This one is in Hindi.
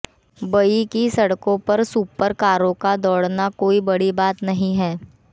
बई की सड़कों पर सुपर कारों का दौड़ना कोई बड़ी बात नहीं है